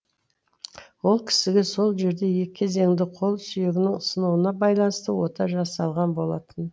ол кісіге сол жерде екі кезеңді қол сүйегінің сынуына байланысты ота жасалған болатын